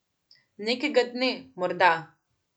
Nekega dne, morda.